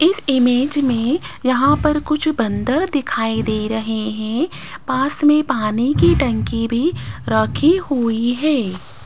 इस इमेज में यहां पर कुछ बंदर दिखाई दे रहे हैं पास में पानी की टंकी भी रखी हुई है।